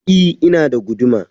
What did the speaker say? I, ina da guduma.